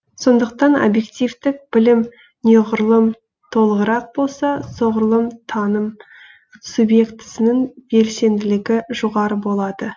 сондықтан объективтік білім неғұрлым толығырақ болса соғұрлым таным субъектісінің белсенділігі жоғары болады